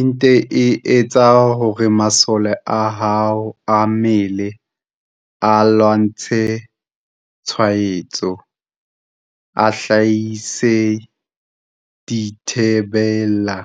Ente e etsa hore masole a hao a mmele a lwantshang tshwaetso a hlahise dithi bela